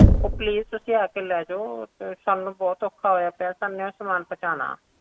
ਅਮ ਉਹ please ਤੁਸੀ ਆ ਕੇ ਲੈ ਜੋ ਸਾਨੂੰ ਬਹੁਤ ਔਖਾ ਹੋਇਆ ਪਿਆ ਸਾਨੇ ਉਹ ਸਮਾਨ ਪਹੁੰਚਣਾ